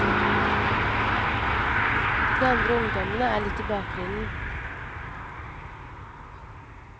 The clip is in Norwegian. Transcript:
De andre ungdommene er litt i bakgrunnen.